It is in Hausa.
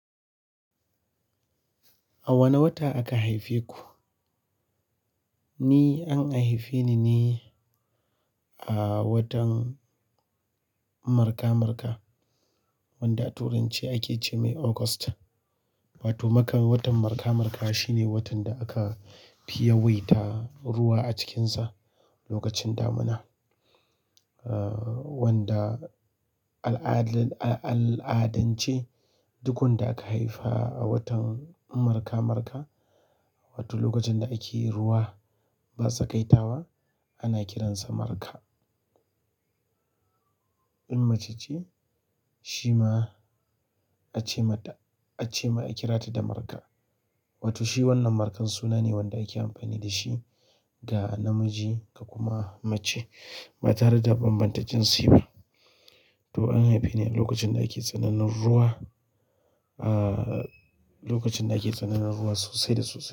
A wane wata aka haife ku? Ni an haife ni ne a watan marka-marka, wanda Turanci ake ce mai August. Wato maka watan marka-marka shine watan da aka fi yawaita ruwa a cikinsa lokacin damuna. Ah, wanda al'adal-- al'adance duk wanda aka haifa a watan marka-marka, wato lokacin da ake ruwa ba tsakaittawa ana kiransa marka. In mace ce, shi ma ace mata, ace ma ake kira ta da marka. Wato shi wannan markan suna ne wanda ake amfani da shi ga namiji ka kuma mace ba tare da bambanta jinsi ba. To an haife ni a lokacin da ake tsananin ruwa, ah, lokacin da ake tsananin ruwa sosai da sosai.